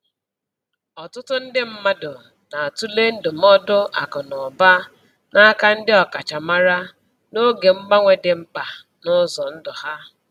Ọtụtụ ndị mmadụ na-atụle ndụmọdụ akụ na ụba n'aka ndị ọkachamara n’oge mgbanwe dị mkpa n’ụzọ ndụ ha.